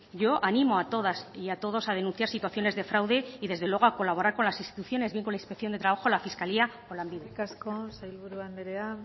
yo animo a todas y a todos a denunciar situaciones de fraude y desde luego a colaborar con las instituciones bien con la inspección de trabajo la fiscalía o lanbide eskerrik asko sailburu andrea